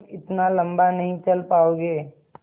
तुम इतना लम्बा नहीं चल पाओगे